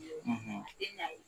e tal